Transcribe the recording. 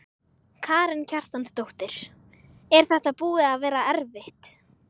Karen Kjartansdóttir: Er þetta búið að vera erfitt?